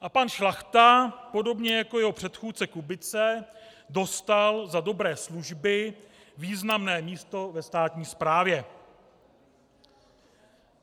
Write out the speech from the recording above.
A pan Šlachta podobně jako jeho předchůdce Kubice dostal za dobré služby významné místo ve státní správě.